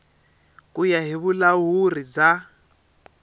ku ya hi vulahuri bya